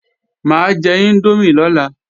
Mà á jẹ índómì lọ́la